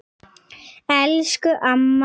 Elsku amma Rósa.